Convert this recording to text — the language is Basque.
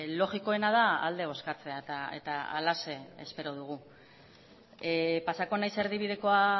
logikoena da alde bozkatzea eta halaxe espero dugu pasako naiz erdibidekoa